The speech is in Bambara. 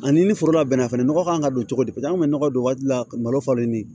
Ani ni foro labɛnna fɛnɛ nɔgɔ kan ka don cogo di paseke an bɛ nɔgɔ don waati dɔ la malo falen ni